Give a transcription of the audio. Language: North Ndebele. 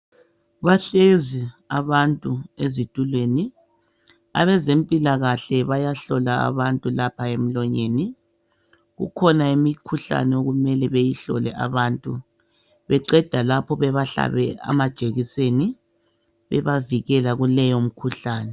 Bahlezi abantu ezitulweni abezempikahle bayahlola abantu lapha emlonyeni. Kukhona imkhuhlane okumele beyihlole abantu beqeda lapho bebahlabe amajekiseni bebavikela kuleyo mkhuhlane.